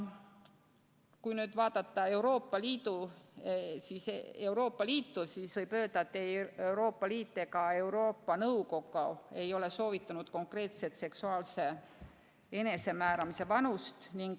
Kui nüüd vaadata Euroopa Liitu, siis võib öelda, et ei Euroopa Liit ega Euroopa Nõukogu ei ole soovitanud konkreetset seksuaalse enesemääramise vanust.